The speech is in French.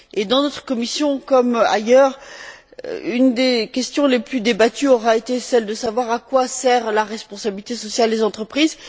Dans notre commission, comme ailleurs, une des questions les plus débattues aura été celle de savoir à quoi sert la responsabilité sociale des entreprises.